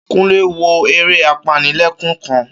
Kúnlé wo eré apanilẹ́kún kan